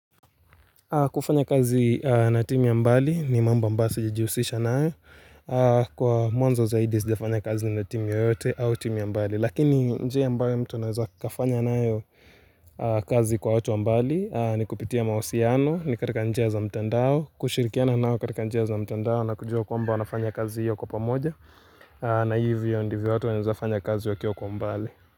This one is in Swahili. Kufanya kazi na timu ya mbali ni mambo ambayo sijijihusisha nae Kwa mwanzo zaidi sijafanya kazi ni na timu yote au timu ya mbali Lakini njia ya mbali mtu naweza kafanya nayo kazi kwa watu wa mbali ni kupitia mahusiano ni katika nje ya za mtendao Kushirikiano nao katika njia ya za mtendao na kujua kwa mba wanafanya kazi hiyo kwa pamoja na hivyo ndivyo watu wanafanya kazi hiyo kwa mbali.